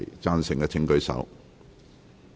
贊成的請舉手。